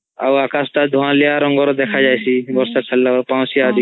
ଆଉ ଅକାଶ୍ ଟା ଧୁଁଆଳିଆ ରଂଗ ଦେଖା ଯାଇଶୀ ବର୍ଷା ଚାଡିଲେ ପାଉଁସ୍ଧିଆ ରଂଗ